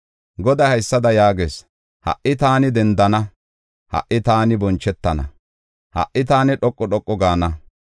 Goday haysada yaagees: “Ha77i taani dendana; ha77i taani bonchetana; ha77i taani dhoqu dhoqu gaana.